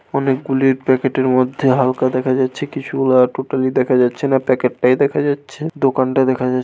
অনেকগুলি প্যাকেট -এর মধ্যে হালকা দেখা যাচ্ছে কিছু গুলা টোটালি দেখা যাচ্ছে না প্যাকেট -টাই দেখা যাচ্ছে দোকানটা দেখা যাচ্ছে।